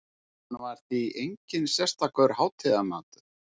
Hann var því enginn sérstakur hátíðamatur.